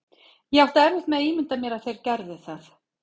Ég átti erfitt með að ímynda mér að þeir gerðu það.